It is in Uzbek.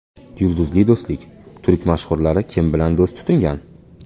Yulduzli do‘stlik: Turk mashhurlari kim bilan do‘st tutingan?